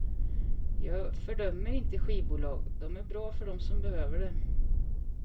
Jag fördömer inte skivbolag, de är bra för dem som behöver det.